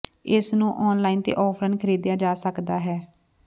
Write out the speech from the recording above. ਇਸ ਨੂੰ ਆਨਲਾਈਨ ਤੇ ਆਫਲਾਈਨ ਖਰੀਦਿਆ ਜਾ ਸਕਦਾ ਹੈ